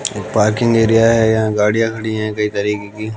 parking area हैं यहां गाड़िया खड़ी हैं कई तरीके की--